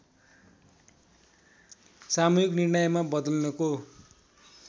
सामूहिक निर्णयमा बदल्नको